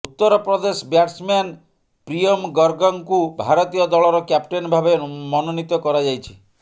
ଉତ୍ତର ପ୍ରଦେଶ ବ୍ୟାଟ୍ସମ୍ୟାନ୍ ପ୍ରିୟମ ଗର୍ଗଙ୍କୁ ଭାରତୀୟ ଦଳର କ୍ୟାପଟେନ୍ ଭାବେ ମନୋନୀତ କରାଯାଇଛି